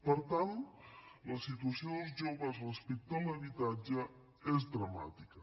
per tant la situació dels joves respecte a l’habitatge és dramàtica